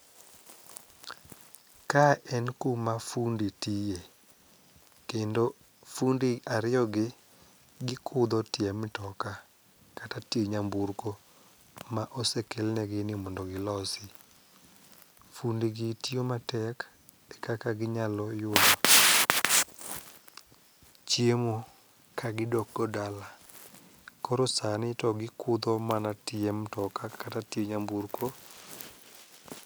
Ka en kuma fundi tiye kendo fundi ariyogi gikudho tie mtoka kata tie nyamburko ma osekelnegi ni mondo gilosi. Fundigi tiyo matek ekaka ginyalo yudo chiemo kagidokgo dala koro sani to gikudho mana tie mtoka kata tie nyamburko.